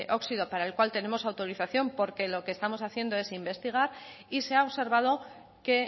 óxido para el cual tenemos autorización porque lo que estamos haciendo es investigar y se ha observado que